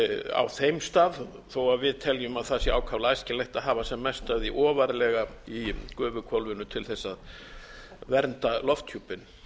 á þeim stað þó að við teljum að það sé ákaflega æskilegt að hafa sem mest af því ofarlega í gufuhvolfinu til þess að vernda lofthjúpinn